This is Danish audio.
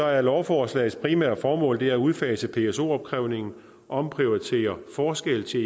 er lovforslagets primære formål at udfase pso opkrævningen omprioritere forskel til